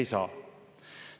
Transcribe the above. Ei saa.